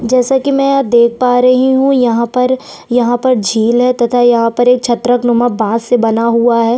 जैसे की मैं देख पा रही हूँ यहाँ पर यहाँ पर झिल है तथा यहाँ पर छत्रक नुमा बांस से बना हुआ हैं।